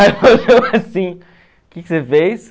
que que você fez?